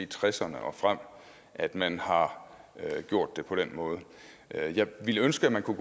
tresserne og frem at man har gjort det på den måde jeg ville ønske at man kunne